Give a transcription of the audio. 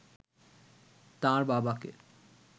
তাঁর বাবাকে